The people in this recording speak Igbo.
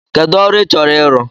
Kedụ ọrụ ị chọrọ ịrụ?